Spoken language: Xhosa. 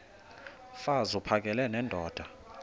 mfaz uphakele nendoda